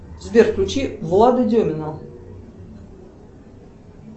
сбер включи влада демина